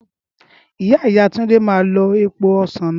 ìyá ìyá Túndé máa lo èèpo ọsán náà